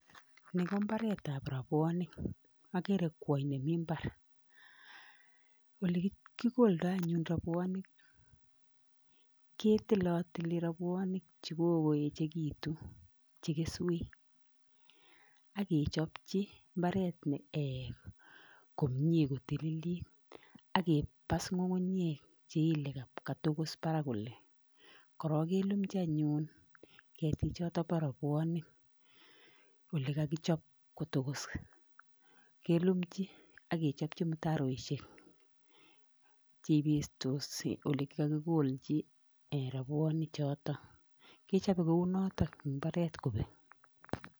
Ni ko imbaretab rubuonik agere kwony nemi mbar. Ole kikoldoi anyun rubuonik ko kitilotili rabuonik che kikoekitu che keswek ak kechopchi imbaret komie kotililit ak kebas kukunyek cheile katokos barak kole. Korok kelumji anyun keti chotok bo rubuonik ole kakijop kotokos kelumji ak kechopji mutaroishek cheibestos ole kikakikolji rubuonik choto kichobe kou notok imbaret kobek.